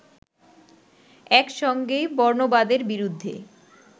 একসঙ্গেই বর্ণবাদের বিরুদ্ধে